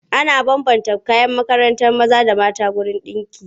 Ana bambanta kayan makarantar maza da mata wajen ɗinki.